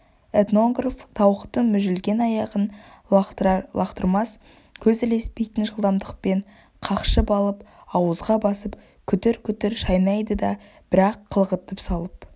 этнограф тауықтың мүжілген аяғын лақтырар-лақтырмас көз ілеспейтін жылдамдықпен қақшып алып азуға басып күтір-күтір шайнайды да бір-ақ қылғытып салып